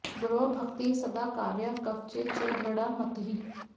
गुरौ भक्तिः सदा कार्या कवचे च दृढा मतिः